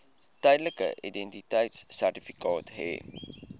tydelike identiteitsertifikaat hê